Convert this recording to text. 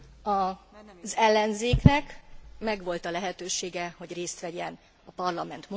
Az ellenzéknek megvolt a lehetősége, hogy részt vegyen a Parlament munkájában.